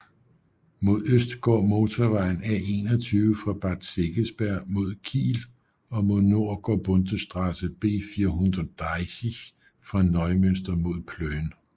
Mod øst går motorvejen A21 fra Bad Segeberg mod Kiel og mod nord går Bundesstraße B430 fra Neumünster mod Plön